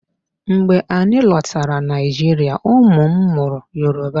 Mgbe anyị lọtara Nigeria, ụmụ m mụrụ Yoruba.